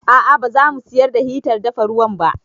A'a ba za mu siyar da hitar dafa ruwan ba